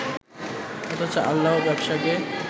অথচ আল্লাহ ব্যবসাকে